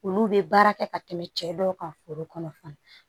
Olu bɛ baara kɛ ka tɛmɛ cɛ dɔ kan foro kɔnɔ